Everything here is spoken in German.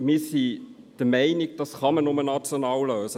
Wir sind der Meinung, dies könne nur national gelöst werden.